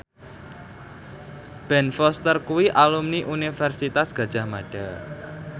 Ben Foster kuwi alumni Universitas Gadjah Mada